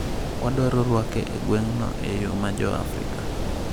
‘Wadwaro rwake e gweng’no e yo ma Jo-Afrika.